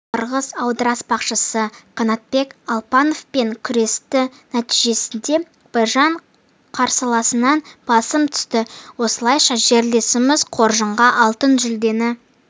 қырғыз аударыспақшысы қанатбек алпановпен күресті нәтижесінде біржан қарсыласынан басым түсті осылайша жерлесіміз қоржынға алтын жүлдені